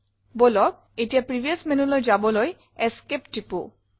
বলক এতিয়া প্ৰিভিয়াছ menuলৈ যাবলৈ Esc টিপো